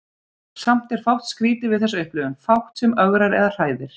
Samt er fátt skrýtið við þessa upplifun, fátt sem ögrar eða hræðir.